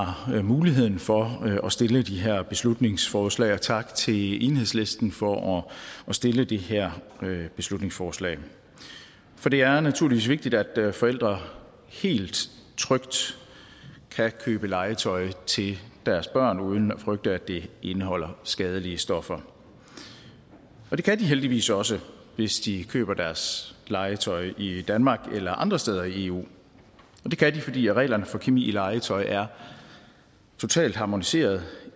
muligheden for at stille de her beslutningsforslag tak til enhedslisten for at stille det her beslutningsforslag for det er naturligvis vigtigt at forældre helt trygt kan købe legetøj til deres børn uden at frygte at det indeholder skadelige stoffer det kan de heldigvis også hvis de køber deres legetøj i danmark eller andre steder i eu det kan de fordi reglerne for kemi i legetøj er totalt harmoniseret